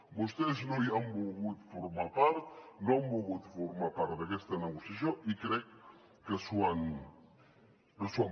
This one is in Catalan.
vostès no hi han volgut formar part no han volgut formar part d’aquesta negociació i crec que s’ho han perdut